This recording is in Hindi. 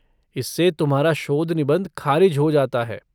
इससे तुम्हारा शोध निबंध ख़ारिज हो जाता है।